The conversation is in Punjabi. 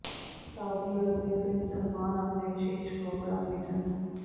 ਸਾਊਦੀ ਅਰਬ ਦੇ ਪ੍ਰਿੰਸ ਸਲਮਾਨ ਆਪਣੇ ਵਿਸ਼ੇਸ਼ ਪ੍ਰੋਗਰਾਮ ਵਿਜ਼ਨ